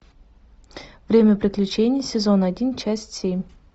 время приключений сезон один часть семь